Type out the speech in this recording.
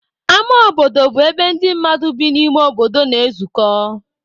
Ámá obodo bụ ebe ndị mmadụ bi n'ime obodo na-ezukọ.